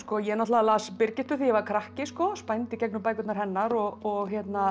ég náttúrulega las Birgittu þegar ég var krakki spændi í gegnum bækurnar hennar og